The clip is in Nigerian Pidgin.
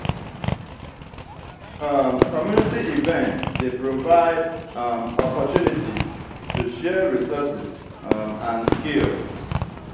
community events dey provide um opportunities to share resources um and skills.